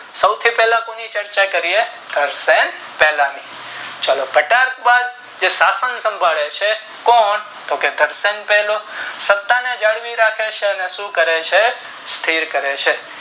સૌથી પહેલા કોની ચર્ચા કરીયે કરસન પહેલા ની ચાલો ઘટાક્ષ જે શાસન સાંભાળે છે કોણ તો કે કરસન પહેલો સત્તા ને જાળવી રાખે છે અને શું કરે છે સ્થિર કરે છે.